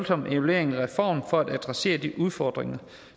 om evalueringen af reformen for at adressere de udfordringer